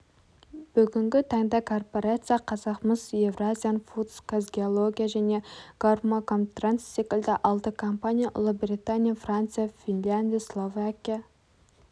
бүгінгі таңда корпорация казахмыс евразиан фудс казгеология және горкомтранс секілді алты компания ұлыбритания франция финляндия словакия